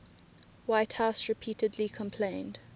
whitehouse repeatedly complained